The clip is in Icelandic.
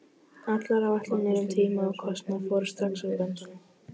Allar áætlanir um tíma og kostnað fóru strax úr böndum.